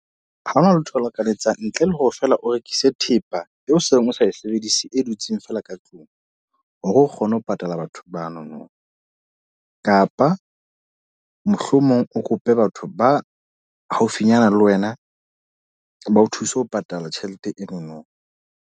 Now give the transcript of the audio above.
Ha hona letho le reka le etsang, ntle le hore feela o rekise thepa eo seng o sa e sebedise e dutseng fela ka tlung. Hore o kgone ho patala batho banono. kapa mohlomong o kope batho ba haufinyana le wena ba o thuse ho patala tjhelete enono.